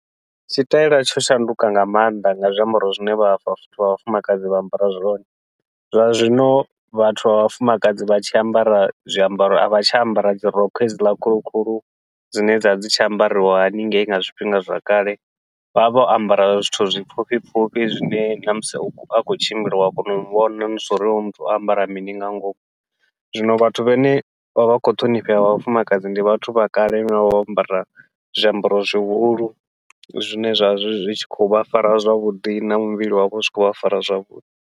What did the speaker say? Tshi taila tsho shanduka nga maanḓa nga zwiambaro zwine vha vhathu vha vhafumakadzi vha ambara zwone, zwa zwino vhathu vha vhafumakadzi vha tshi ambara zwiambaro a vha tsha ambara dzi rokho hedziḽa khulu khulu dzine dzavha dzi tshi ambariwa haningei nga zwifhinga zwa kale, vha vha vho ambara zwithu zwipfhufhi pfhufhi zwine namusi a khou tshimbila ua kona u muvhona zwauri hoyu muthu o ambara mini nga ngomu. Zwino vhathu vhane vha vha khou ṱhonifhea vhafumakadzi ndi vhathu vha kale vhane vha vho ambara zwiambaro zwihulu, zwine zwavha zwi tshi khou vha fara zwavhuḓi na muvhili wavha zwi khou vha fara zwavhuḓi.